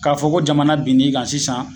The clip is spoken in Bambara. K'a fɔ ko jamana bin'i kan sisan